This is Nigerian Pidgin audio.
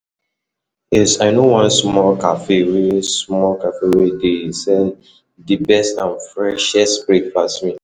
Yes, i know one small cafe wey small cafe wey dey sell di best and freshest breakfast meal.